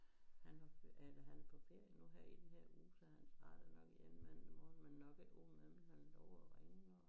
Han har eller han er på ferie nu her i den her uge så han startede nok igen mandag morgen men nok ikke uden han lovede at ringe når